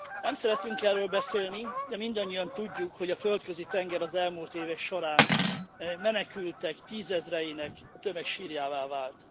Nem szeretünk erről beszélni, de mindannyian tudjuk, hogy a Földközi tenger az elmúlt évek során menekültek tízezreinek a tömegsírjává vált.